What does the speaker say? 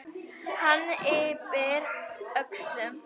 Hann yppir öxlum.